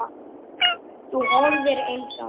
Þú horfir eins á mig.